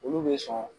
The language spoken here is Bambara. Olu bɛ sɔn